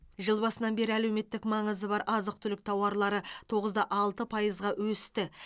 жыл басынан бері әлеуметтік маңызы бар азық түлік тауарлары тоғыз да алты пайызға өсті